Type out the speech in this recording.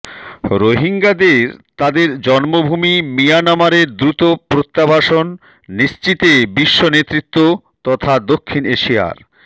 রোহিঙ্গাদের তাদের জন্মভূমি মিয়ানমারে দ্রুত প্রত্যাবাসন নিশ্চিতে বিশ্ব নেতৃত্ব তথা দক্ষিণ এশিয়ার